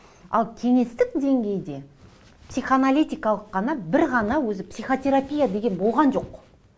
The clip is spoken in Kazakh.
ал кеңестік деңгейде психоаналитикалық қана бір ғана өзі психотерапия деген болған жоқ